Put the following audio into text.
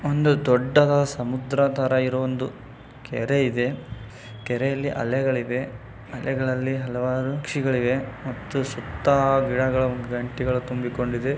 ಒಂದು ದೊಡ್ಡದ ಸಮುದ್ರ ತರ ಇರೋ ಒಂದು ಕೆರೆ ಇದೆ. ಕೆರೆಯಲ್ಲಿ ಅಲೆಗಳಿವೆ ಅಲೆಗಳಲ್ಲಿ ಹಲವಾರು ಪಕ್ಷಿಗಳಿವೆ ಮತ್ತು ಸುತ್ತ ಗಿಡಗಳು ಗಂಟಿಗಳು ತುಂಬಿಕೊಂಡಿದೆ.